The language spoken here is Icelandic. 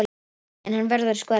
En hann verður að skora mark.